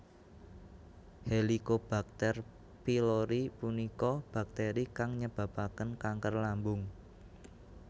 Helicobacter Pylori punika bakteri kang nyebabaken kanker lambung